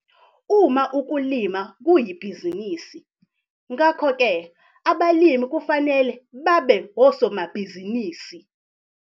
Uma ukulima kuyibhizinisi, ngakho ke abalimi kufanele babe osomabhizinisi